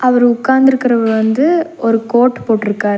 அவரு உக்காந்துருக்கரவர் வந்து ஒரு கோட் போட்டுருக்கார்.